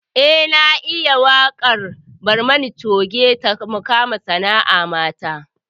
Eh na iya waƙar barmani coge ta mukama sana'a mata